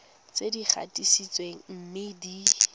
tse di gatisitsweng mme di